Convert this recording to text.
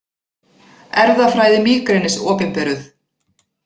Erfðafræði mígrenis opinberuð